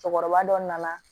Cɛkɔrɔba dɔ nana